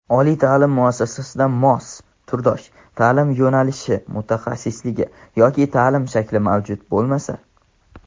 Oliy ta’lim muassasasida mos (turdosh) ta’lim yo‘nalishi (mutaxassisligi) yoki ta’lim shakli mavjud bo‘lmasa;.